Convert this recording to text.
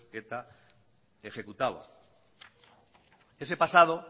eta ejecutaba ese pasado